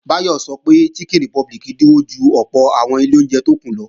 Báyọ̀ sọ pé oúnjẹ Chicken Republic dínwó ju ọ̀pọ̀ àwọn ilé oúnjẹ tó kù lọ